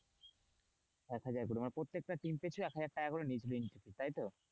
এক হাজার করে মানে প্রত্যেকটা team পিছু এক হাজার টাকা করে নিয়েছিল entry fee তাই তো,